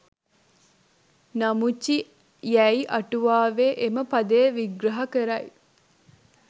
නමුචි යැයි අටුවාවේ එම පදය විග්‍රහ කරයි.